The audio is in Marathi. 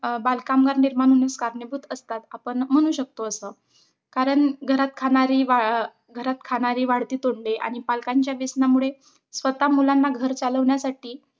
अं बालकामगार निर्माण होण्यास कारणीभूत असतात. आपण म्हणू शकतो असं कारण घरात खाणारी घा घरात खाणारी वाढती तोंडे, आणि पालकांच्या व्यसनामुळे स्वताः मुलांना घर चालवण्यासाठी